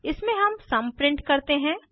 इसमें हम sum print करते हैं